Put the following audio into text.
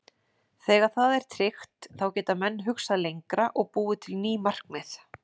Þegar það er tryggt þá geta menn hugsað lengra og búið til ný markmið.